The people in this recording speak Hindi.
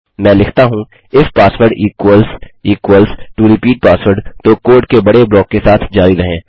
मैं लिखता हूँ if password equals equals to repeat password तो कोड के बड़े ब्लॉक के साथ जारी रहें